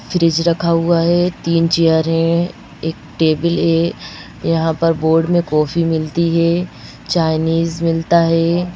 Fridge रखा हुआ है तीन चेयर हैं एक टेबल है यहां पर बोर्ड में कॉफी मिलती है चाइनीज़ मिलता है।